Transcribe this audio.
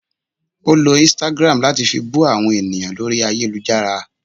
Ọ ló Instagram latí fí bú àwọn ènìyàn lórí ayélujára